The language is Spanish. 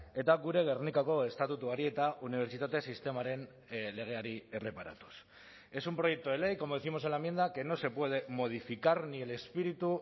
eta gure gernikako estatutuari eta unibertsitate sistemaren legeari erreparatuz es un proyecto de ley como décimos en la enmienda que no se puede modificar ni el espíritu